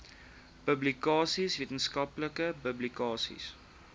publikasies wetenskaplike publikasies